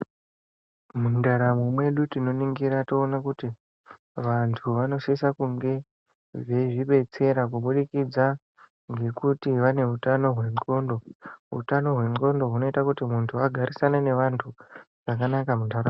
Mundaramo mwedu tinoringira toona kuti vantu vanosise kunge veizvibetsera kubudikidza ngekuti vanehutano hwendxondo. Hutano hwendxondo hunoita kuti muntu agarisane nevantu zvakanaka munharaunda.